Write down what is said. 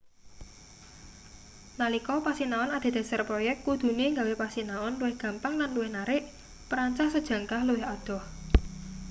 nalika pasinaon adhedhasar proyek kudune gawe pasinaon luwih gampang lan luwih narik perancah sejangkah luwih adoh